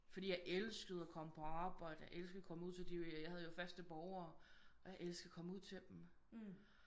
Fordi jeg elskede at komme på arbejde jeg elskede at komme ud til de jeg havde jo faste borgere og jeg elskede at komme ud til dem